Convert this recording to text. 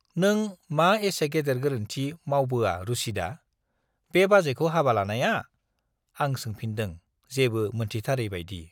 नों मा एसे गेदेर गोरोन्थि मावबोआ रुसिदा, बे बाजैखौ हाबा लानाया? आं सोंफिनदों जेबो मोनथिथारै बाइदि।